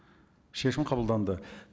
шешім қабылданды